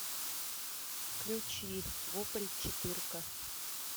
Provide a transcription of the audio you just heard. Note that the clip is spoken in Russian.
включи вопль четырка